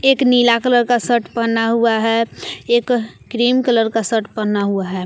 एक नीला कलर का शर्ट पहना हुआ है एक क्रीम कलर का शर्ट पहना हुआ है।